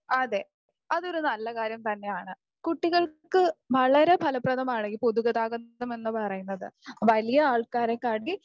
അതെ, അതൊരു നല്ല കാര്യം തന്നെയാണ്. കുട്ടികൾക്ക് വളരെ ഫലപ്രദമാണ് ഈ പൊതുഗതാഗതം എന്ന് പറയുന്നത്. വലിയ ആൾക്കാരെ കാട്ടി